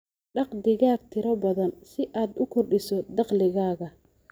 Dhaq digaag tiro badan si aad u kordhiso dakhligaaga.